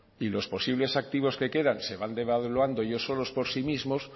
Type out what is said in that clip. y los posibles activos que quedan se van devaluando ellos solos por sí mismos